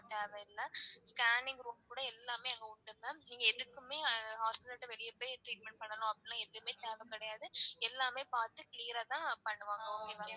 தேவ இல்ல scanning room கூட எல்லாமே அங்க உண்டு ma'am நீங்க எதுக்குமே hospital விட்டு வெளிய போய் treatment பண்ணனும் அப்படிலாம் எதுமே தேவ கிடையாது. எல்லாமே பாத்து clear ஆ தான் பண்ணுவாங்க okay வா.